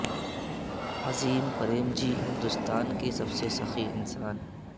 عظیم پریم جی ہندوستان کے سب سے سخی انسان